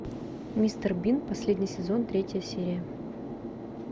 мистер бин последний сезон третья серия